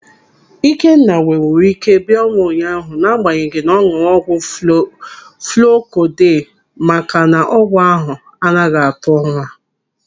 Ikenna nwewuru ike bịa ọrụ ụnyaahụ n'agbanyeghị na ọ n̄ụrụ ọgwụ fluuko dei maka na ọgwụ ahụ anaghị atụ ụra.